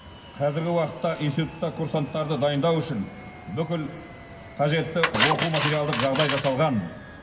қазіргі уақытта институтта курсанттарды дайындау үшін бүкіл қажетті оқу материалдық жағдай жасалған